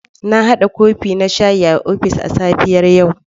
Na hada kofi na shayi a ofis a safiyar yau.